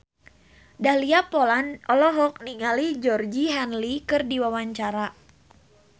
Dahlia Poland olohok ningali Georgie Henley keur diwawancara